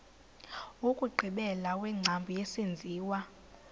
wokugqibela wengcambu yesenziwa